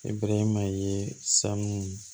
E bɛ ma ye sanu